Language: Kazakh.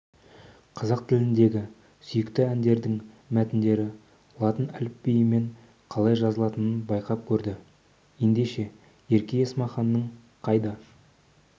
қазақ тіліндегі сүйікті әндердің мәтіндері латын әліпбиімен қалай жазылатынын байқап көрді ендеше ерке есмаханның қайда